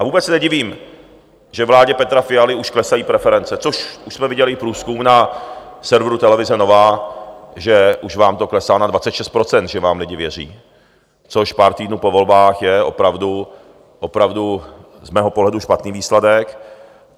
A vůbec se nedivím, že vládě Petra Fialy už klesají preference, což jsme viděli i průzkum na serveru televize Nova, že už vám to klesá, na 26 % že vám lidi věří, což pár týdnů po volbách je opravdu z mého pohledu špatný výsledek.